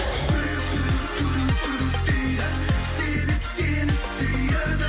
жүрек дейді себеп сені сүйеді